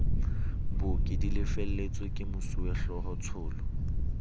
booki di lefelletswe kemosuwehlooho tsholo